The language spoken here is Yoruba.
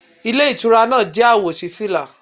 Ilé Ìtura náà jẹ́ àwò sí fìlà